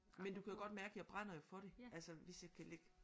Men du kan godt mærke jeg brænder jo for det altså hvis jeg kan lægge